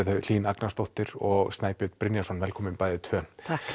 þau Hlín Agnarsdóttir og Snæbjörn Brynjarsson velkomin bæði tvö það